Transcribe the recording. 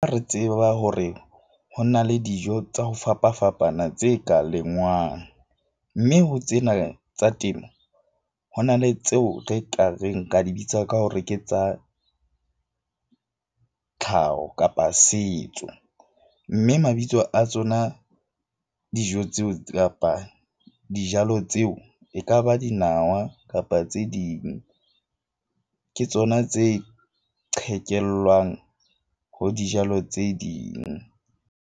Re tseba hore ho na le dijo tsa ho fapafapana tse ka lengwang. Mme ho tsena tsa temo, ho na le tseo re ka reng ka di bitsa ka hore ke tsa tlhaho kapa setso. Mme mabitso a tsona, dijo tseo kapa dijalo tseo e ka ba dinawa kapa tse ding ke tsona tse qhekellwang ho dijalo tse ding.